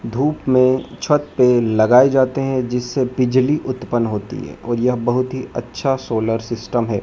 धूप में छत पर लगाए जाते हैं जिससे बिजली उत्पन्न होती है और यह बहोत ही अच्छा सोलर सिस्टम है।